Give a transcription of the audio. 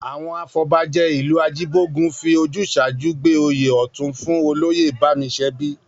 Àwọn afọbajẹ ìlú Ajíbógun fi ojúṣàájú gbé oyè Ọ̀tún fún Olóyè Bámiṣẹbí